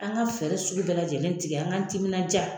An ka fɛɛrɛ sugu bɛɛ lajɛlen tigɛ an ka timinan ja